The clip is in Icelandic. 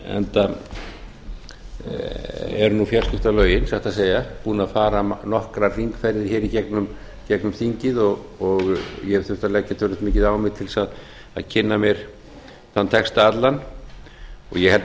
enda eru fjarskiptalögin satt að segja búin að fara nokkrar hringferðir í gegnum þingið og ég hef þurft að leggja töluvert mikið á mig til að kynna mér þennan texta allan og ég held að